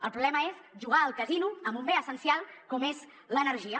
el problema és jugar al casino amb un bé essencial com és l’energia